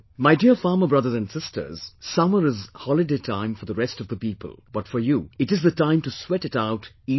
My dear farmer brothers and sisters, summer is holiday time for the rest of the people, but for you it is the time to sweat it out even more